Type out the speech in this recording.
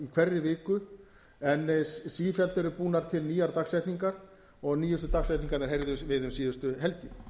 hverri viku en sífellt eru búnar til nýjar dagsetningar og nýjustu dagsetningarnar heyrðum við um síðustu helgi